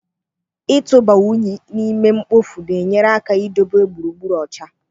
Ịtụba únyí n'ime ihe mkpofu na-enyere aka idobe gburugburu ọcha.